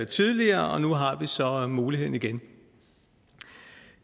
tidligere og nu har vi så muligheden igen